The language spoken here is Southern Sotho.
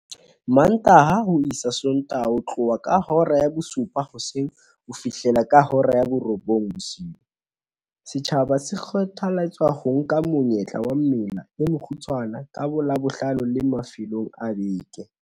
Mantaha ho isa Sontaha ho tloha ka hora ya bosupa hoseng ho fihlela ka hora ya borobong bosiu, setjhaba se kgothaletswa ho nka monyetla wa mela e mekgutshwane ka boLabohlano le mafelong a beke.